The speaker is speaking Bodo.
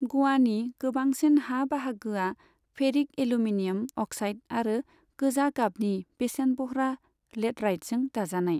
ग'वानि गोबांसिन हा बाहागोआ फेरिक एल्युमिनियम अक्साइड आरो गोजा गाबनि बेसेनबह्रा लेटराइटजों दाजानाय।